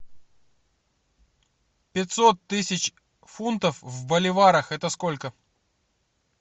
пятьсот тысяч фунтов в боливарах это сколько